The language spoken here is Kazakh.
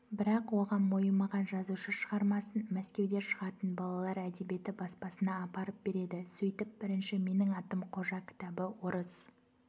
бірақ оған мойымаған жазушы шығармасын мәскеуде шығатын балалар әдебиеті баспасына апарып береді сөйтіп бірінші менің атым қожа кітабы орыс